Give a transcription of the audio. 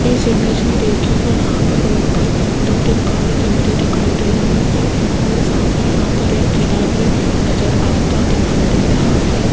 इस इमेज मे देखियेगा यहां पर रोड पर दो तीन कार चलते दिखाई दे रही है और सामने यहां पर एक ठेला भी नज़र आता दिखाई दे रहा है।